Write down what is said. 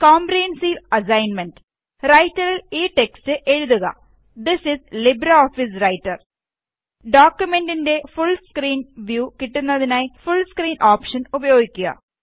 comprehensive assignment റൈറ്ററില് ഈ text എഴുതുക ദിസ് ഇസ് ലിബ്രെഓഫീസ് റൈറ്റര് ഡോക്കുമെന്റിന്റെ ഫുള് സ്കീന് വ്യൂ കിട്ടുന്നതിനായി ഫുള് സ്ക്രീന് ഓപ്ഷന് ഉപയോഗിക്കുക